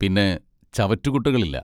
പിന്നെ ചവറ്റുകുട്ടകളില്ല.